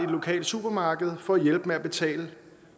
lokale supermarked for at hjælpe med at betale